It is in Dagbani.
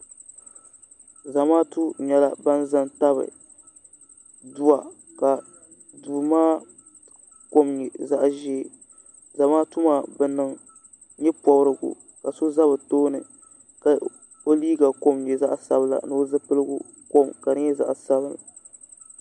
zamaatu nyɛla ban zan tabi dowa ka do maa kom nyɛ zaɣ' ʒiɛ zamaatu bɛ niŋ nyɛporigu ka so za bituuni ka o liga kom nyɛ zaɣ' sabila o zoligu kom ka di nyɛ zaɣ' sabinli